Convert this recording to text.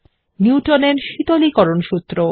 নিউটনের শীতলীকরণ সূত্র